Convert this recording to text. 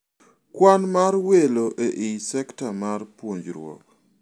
Kwan mar welo ei sekta mar puonjruok